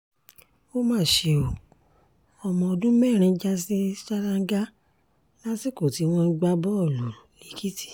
ó mà ṣe ọ́ ọmọ ọdún mẹ́rin já sí ṣáláńgá lásìkò tí wọ́n ń gbá bọ́ọ̀lù lẹ́kìtì